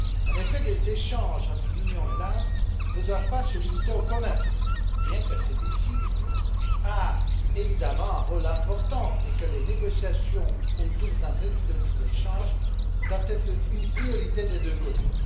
En effet, les échanges entre l'Union et l'Inde ne doivent pas se limiter au commerce, bien que celui ci ait évidemment un rôle important et que les négociations autour d'un traité de libre échange doivent être une priorité des deux côtés.